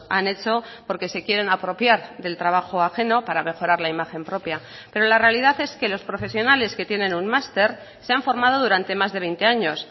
han hecho porque se quieren apropiar del trabajo ajeno para mejorar la imagen propia pero la realidad es que los profesionales que tienen un máster se han formado durante más de veinte años